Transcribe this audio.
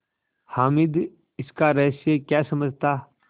हामिद इसका रहस्य क्या समझता